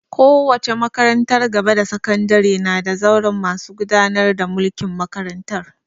Kowace makarantar gaba da sakandare na da zauren masu gudanar da mulkin makarantar